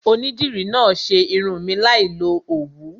Onídìrí náà ṣe irun mi láì lo Òwú.